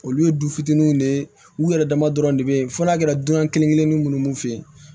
Olu ye du fitininw de ye u yɛrɛ dama dɔrɔn de bɛ ye fɔ n'a kɛra dunan kelen kelennin minnu fe yen